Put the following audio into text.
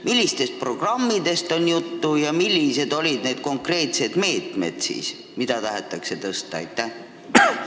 Mis programmidest on jutt ja millised on need konkreetsed meetmed, mille tulemuslikkust tahetakse suurendada?